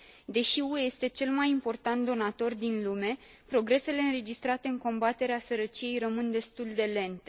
Deși UE este cel mai important donator din lume, progresele înregistrate în combaterea sărăciei rămân destul de lente.